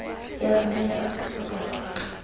ya rona ya aforika borwa